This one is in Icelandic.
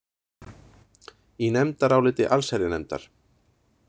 Í nefndaráliti allsherjarnefndar.